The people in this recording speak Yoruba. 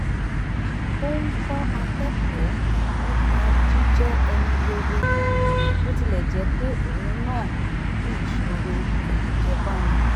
ó ń kọ́ akẹ́kọ̀ọ́ nípa jíjẹ́ ẹni rere bó tilẹ̀ jẹ́ pé òun náà ní ìṣòro ajẹ́bánu